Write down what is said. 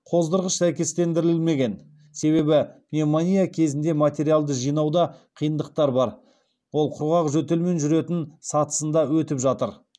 қоздырғыш сәйкестендірілмеген себебі пневмония кезінде материалды жинауда қиындықтар бар ол құрғақ жөтелмен жүретін сатысында өтіп жатыр